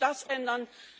Lassen Sie uns das